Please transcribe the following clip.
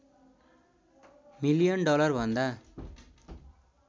million डलरभन्दा